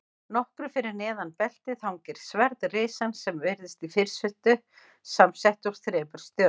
Nokkru fyrir neðan beltið hangir sverð risans sem virðist í fyrstu samsett úr þremur stjörnum.